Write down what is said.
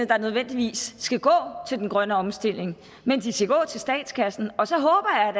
der nødvendigvis skal gå til den grønne omstilling men de skal gå til statskassen og så håber jeg